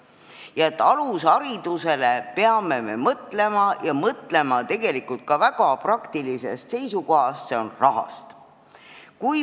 Me peame alusharidusele mõtlema ja seda ka väga praktilisest seisukohast: ma pean silmas raha.